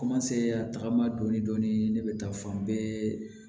a tagama dɔɔnin dɔɔnin ne bɛ taa fan bɛɛ